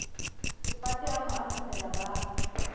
sefate a mo atamela ba